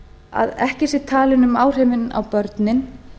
að ekki sé talað um áhrifin á börnin